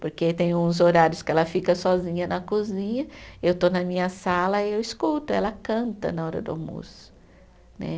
Porque tem uns horários que ela fica sozinha na cozinha, eu estou na minha sala e eu escuto, ela canta na hora do almoço né.